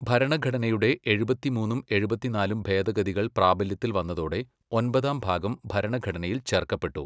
ഭരണഘടനയുടെ എഴുപത്തിമൂന്നും എഴുപത്തിനാലും ഭേദഗതികൾ പ്രാബല്യത്തിൽ വന്നതോടെ, ഒൻപതാം ഭാഗം ഭരണഘടനയിൽ ചേർക്കപ്പെട്ടു.